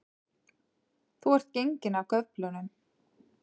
Þú ert genginn af göflunum